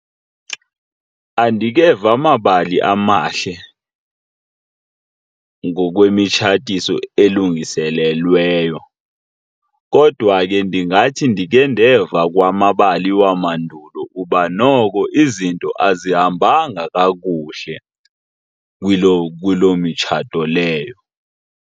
Andikeva mabali amahle ngokwemitshatiso elungiselelweyo kodwa ke ingathi ndikhe ndeva kwamabali wamandulo uba noko izinto azihambanga kakuhle kuloo mitshato leyo.